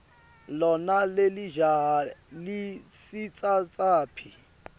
lona lelijaha lisitsatsaphi